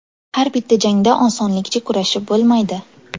Har bitta jangda osonlikcha kurashib bo‘lmaydi.